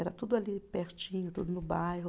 Era tudo ali pertinho, tudo no bairro.